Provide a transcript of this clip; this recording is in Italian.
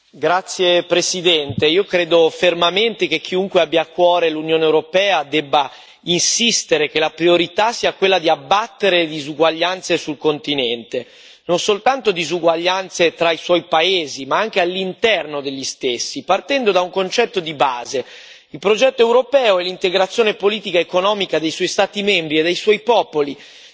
Signora Presidente, onorevoli colleghi, io credo fermamente che chiunque abbia a cuore l'Unione europea debba insistere che la priorità sia quella di abbattere le disuguaglianze sul continente, non soltanto disuguaglianze tra i suoi paesi, ma anche all'interno degli stessi, partendo da un concetto di base il progetto europeo e l'integrazione politica economica dei suoi Stati membri e dei suoi popoli